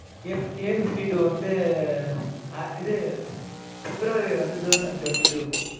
A fifty two வந்து, ஆஹ் இது, february வந்து, two thousand twenty two mam